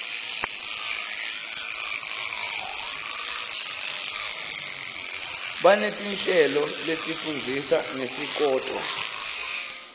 baneti nhleloletifundzisa ngesikoto